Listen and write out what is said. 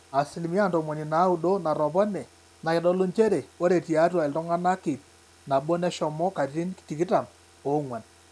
asilimia ntomoni naaudo natopone naa keitodolu njere ore tiatua iltung'anak ip nabo neshomo katitin tikitam oong'wan